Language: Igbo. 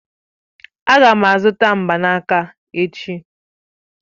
Aga m azụta mgbanaka echi.